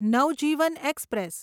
Navjivan express